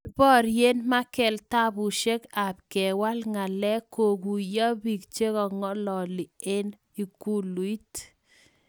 Kiporye Merkel tabushek ab kewal ngalek koguyopik chekongalili ing ikuluit.